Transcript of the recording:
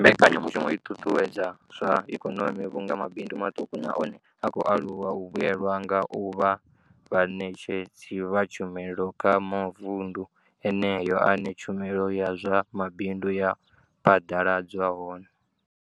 Mbekanyamushumo i ṱuṱuwedza zwa ikonomi vhunga mabindu maṱuku na one a khou aluwa a vhuelwa nga u vha vhaṋetshedzi vha tshumelo kha mavundu eneyo ane tshumelo ya zwa mabindu ya phaḓaladzwa hone.